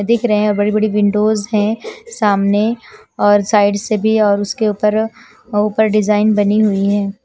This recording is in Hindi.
दिख रहे है बड़ी बड़ी विंडो है सामने और साइड से भी और उसके ऊपर ऊपर डिजाइन बनी हुई है।